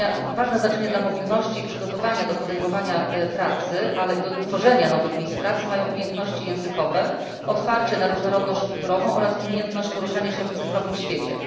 Ważne znaczenie dla mobilności i przygotowania do podejmowania pracy, ale i do tworzenia nowych miejsc pracy mają umiejętności językowe, otwarcie na różnorodność kulturową oraz umiejętność poruszania się w cyfrowym świecie.